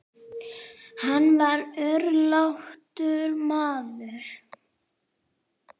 Hann var örlátur maður.